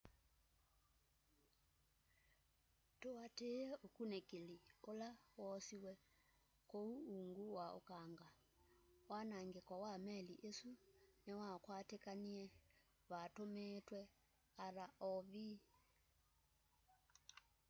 tũatĩĩe ũkũnĩkĩlĩ ũle woosĩwe kũũ ũũngũ wa ũkanga wanangĩko wa meli ĩsũ nĩwakwatĩkanĩe vatũũmĩĩtwe rov